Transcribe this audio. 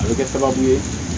A bɛ kɛ sababu ye